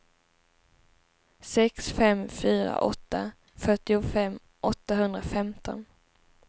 sex fem fyra åtta fyrtiofem åttahundrafemton